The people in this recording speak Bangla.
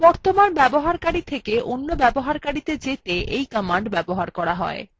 বর্তমান ব্যবহারকারী থেকে অন্য ব্যবহারকারীত়ে যেতে এই command ব্যবহার করা হয়